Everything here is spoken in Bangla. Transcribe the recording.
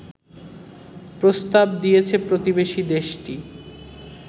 প্রস্তাব দিয়েছে প্রতিবেশী দেশটি